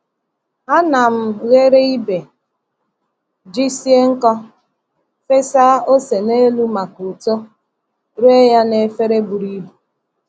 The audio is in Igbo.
A na m ghere ibe ji sie nkọ, fesa ose n’elu maka uto, ree ya n’efere buru ibu.